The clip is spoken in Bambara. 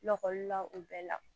Lakɔlila o bɛɛ la